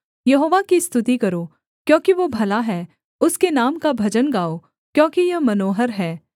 यहोवा की स्तुति करो क्योंकि वो भला है उसके नाम का भजन गाओ क्योंकि यह मनोहर है